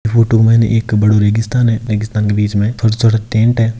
Photo में एक बड़ा रेगिस्तान है बीच में छोटे छोटे टेंट है।